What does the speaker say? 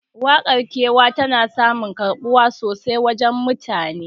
Waƙar kewa tana samun karɓuwa sosai a wajen mutane